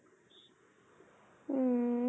উম